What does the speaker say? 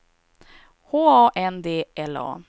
H A N D L A